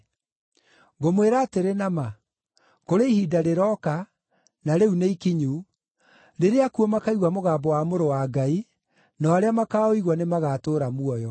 Ngũmwĩra atĩrĩ na ma, kũrĩ ihinda rĩrooka, na rĩu nĩikinyu rĩrĩa akuũ makaigua mũgambo wa Mũrũ wa Ngai, nao arĩa makaũigua nĩ magaatũũra muoyo.